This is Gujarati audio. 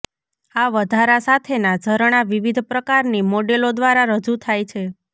આ વધારા સાથેનાં ઝરણાં વિવિધ પ્રકારની મોડેલો દ્વારા રજૂ થાય છે